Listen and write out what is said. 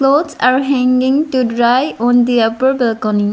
Clothes are hanging to dry on the upper balcony.